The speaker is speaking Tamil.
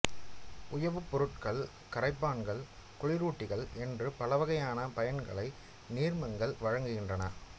உயவுப் பொருட்கள் கரைப்பான்கள் குளிரூட்டிகள் என்று பலவகையான பயன்களை நீர்மங்கள் வழங்குகின்றன